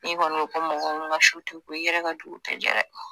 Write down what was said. N'i kɔni ko ko mɔgɔ min ka su tɛ ko i yɛrɛ ka jugu tɛ ja dɛ!